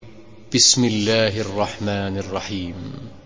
بِسْمِ اللَّهِ الرَّحْمَٰنِ الرَّحِيمِ